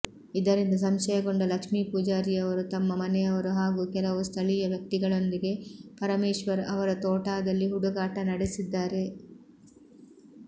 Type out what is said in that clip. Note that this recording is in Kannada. ಇದರಿಂದ ಸಂಶಯಗೊಂಡ ಲಕ್ಷ್ಮೀ ಪೂಜಾರಿಯವರು ತಮ್ಮ ಮನೆಯವರು ಹಾಗೂ ಕೆಲವು ಸ್ಥಳೀಯ ವ್ಯಕ್ತಿಗಳೊಂದಿಗೆ ಪರಮೇಶ್ಚರ್ ಅವರ ತೋಟಾದಲ್ಲಿ ಹುಡುಕಾಟ ನಡೆಸಿದ್ದಾರೆ